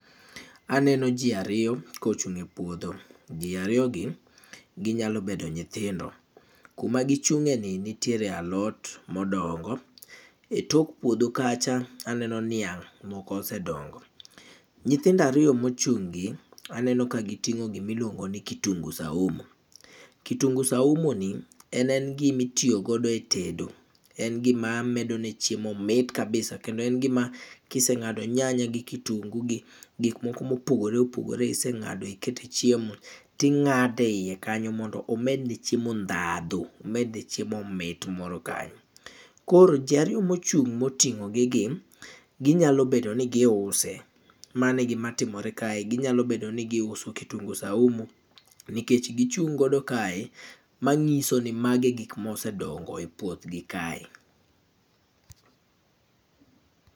Aneno jii ariyo, kochung' e puodho. Jii ariyo gi, ginyalo bedo nyithindo. Kuma gichung'e ni nitiere alot modongo, e tok puodho kacha aneno niang' moko osedongo. Nyithindo ariyo mochung' gi aneno ka giting'o gimiluongo ni kitungu saumo. Kitungu saumo ni en en gimitiyo godo e tedo. En gima medo ne chiemo mit kabisa kendo en gima kiseng'ado nyanya gi kitungu gi gik moko mopogore opogore iseng'ado ikete e chiemo, ting'ade e yie kanyo mondo omed ne chiemo ndhadhu, omed ne chiemo mit moro kanyo. Koro jii ariyo mochung' moting'ogi gi, ginyalo bdedo ni giuse, mane e gima timore kae. Ginyalo bedo ni giuso kitungu saumu nikech gichung' godo kae, mang'iso ni mage e gik mosedongo e puoth gi kae.